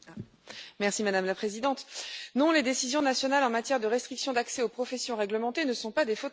Madame la Présidente, non, les décisions nationales en matière de restriction d'accès aux professions réglementées ne sont pas des fautes morales.